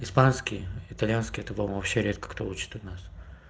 испанский итальянский это по-моему вообще редко кто хочет у нас